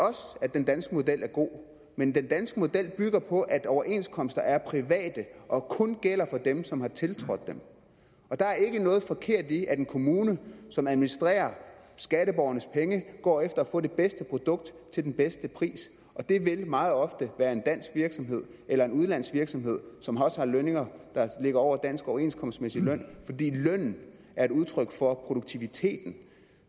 den danske model er god men den danske model bygger på at overenskomster er private og kun gælder for dem som har tiltrådt dem og der er ikke noget forkert i at en kommune som administrerer skatteborgernes penge går efter at få det bedste produkt til den bedste pris det vil meget ofte være en dansk virksomhed eller en udenlandsk virksomhed som også har lønninger der ligger over dansk overenskomstmæssig løn fordi lønnen er et udtryk for produktiviteten